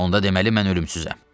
Onda deməli mən ölümsüzəm.